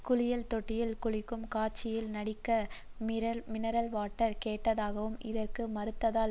குளியல் தொட்டியில் குளிக்கும் காட்சியில் நடிக்க மினரல்வாட்டர் கேட்டதாகவும் இதற்கு மறுத்ததால்